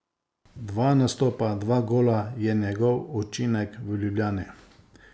Dva nastopa, dva gola je njegov učinek v Ljubljani.